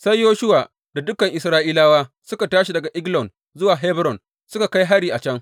Sai Yoshuwa da dukan Isra’ilawa suka tashi daga Eglon zuwa Hebron suka kai hari a can.